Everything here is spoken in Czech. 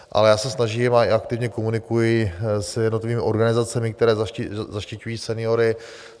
Ale já se snažím a i aktivně komunikuji s jednotlivými organizacemi, které zaštiťují seniory.